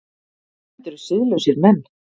Þetta eru siðlausir menn!